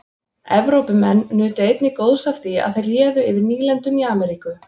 Evrópumenn nutu einnig góðs af því að þeir réðu yfir nýlendum í Ameríku.